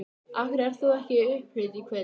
Af hverju ert þú ekki í upphlut í kvöld?